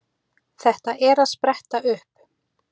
Þetta er að spretta upp.